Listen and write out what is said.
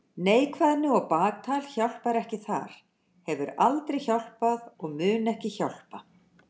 Neikvæðni og baktal hjálpar ekki þar, hefur aldrei hjálpað og mun ekki hjálpa.